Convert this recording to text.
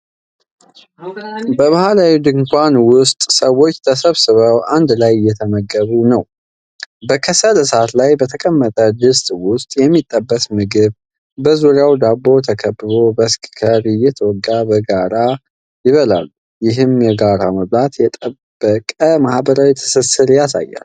በባህላዊ ድንኳን ውስጥ ሰዎች ተሰብስበው አንድ ላይ እየተመገቡ ነው። በከሰል እሳት ላይ በተቀመጠ ድስት ውስጥ የሚጠበስ ምግብ፣ በዙሪያው በዳቦ ተከብቦ፣ በስካከር (skewer) እየተወጋ በጋራ ይበላሉ። ይህ የጋራ መብላት፣ የጠበቀ ማህበራዊ ትስስር ያሳያል።